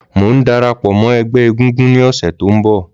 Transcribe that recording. Mò ń darapọ̀ mọ́ ẹgbẹ́ egungun ní ọ̀sẹ̀ tó ń bọ̀.